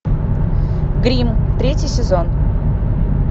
гримм третий сезон